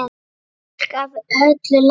Fólk af öllu tagi.